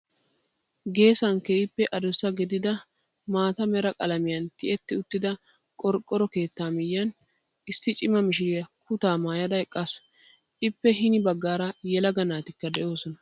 Geesan keehippe adussa gidida maata mera qalamiyan ti'etti uttida qorqqoro keetta miyyiyaan issi cima mishiriyaa kutaa maayyada eqqaasu. Eppe hini baaggaara yelaga naatikka doosona.